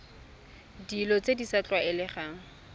dilo tse di sa tlwaelegang